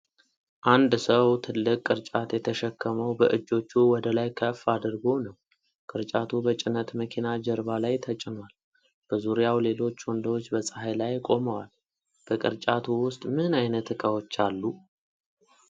አንድ ሰው ትልቅ ቅርጫት የተሸከመው በእጆቹ ወደ ላይ ከፍ አድርጎ ነው። ቅርጫቱ በጭነት መኪና ጀርባ ላይ ተጭኗል። በዙሪያው ሌሎች ወንዶች በፀሐይ ላይ ቆመዋል። በቅርጫቱ ውስጥ ምን ዓይነት ዕቃዎች አሉ?